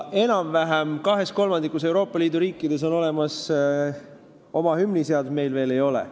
Enam-vähem kahes kolmandikus Euroopa Liidu riikides on olemas oma hümniseadus, meil veel ei ole.